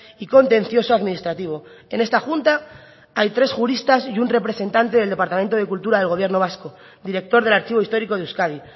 y contencioso administrativo en esta junta hay tres juristas y un representante del departamento de cultura del gobierno vasco director del archivo histórico de euskadi